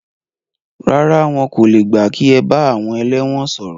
Rárá, wọn kò le gbà kí ẹ bá àwọn ẹlẹ́wọ̀n sọ̀rọ̀.